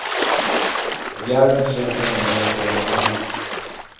Järven ger sig nämligen på renarna.